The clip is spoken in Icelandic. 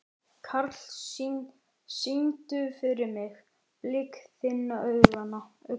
Karl, syngdu fyrir mig „Blik þinna augna“.